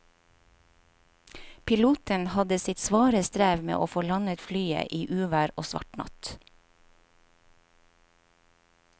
Piloten hadde sitt svare strev med å få landet flyet i uvær og svart natt.